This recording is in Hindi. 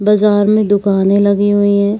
बजार में दुकाने लगी हुई हैं।